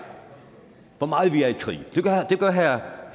hvor meget vi er i krig det gør herre